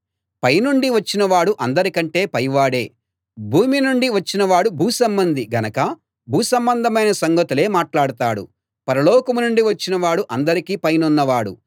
పై నుండి వచ్చిన వాడు అందరికంటే పైవాడే భూమి నుండి వచ్చిన వాడు భూసంబంధి గనక భూ సంబంధమైన సంగతులే మాట్లాడతాడు పరలోకం నుండి వచ్చినవాడు అందరికీ పైనున్నవాడు